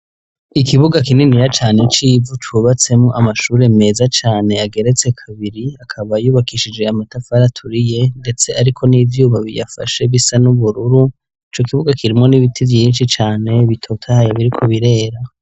Ikibuga kininiya cane c'ivu cubatswemwo amashure meza cane ageretse kabiri akaba yubakishije amatafari aturiye ndetse ariko n'ivyuma biyafashe bisa n'ubururu. Icokibuga kirimwo n'ibiti vyinshi cane bitotahaye biriko birera.